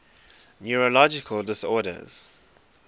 neurological disorders